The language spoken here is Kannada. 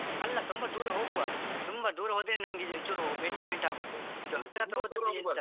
ಅಲ್ಲಾ ತುಂಬಾ ದೂರ ಹೋಗ್ವಾ ತುಂಬಾ ದೂರ ಹೋದ್ರೆ ನಮ್ಗೆ ಚುರು enjoy ಆಗುದು ಇದು ಹತ್ರ ಹತ್ರ ಹೋದ್ರೆ ಎಂತ